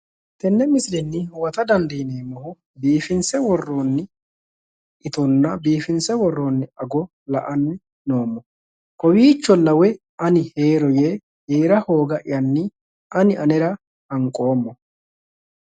Tenne misile huwata dandiineemmohu biifinse worroonni itonna biifinse worroonni ago la'anni noommo. Kowiicholla woyi ani heero yee heera hooga"yyanni ani anera hanqoommo.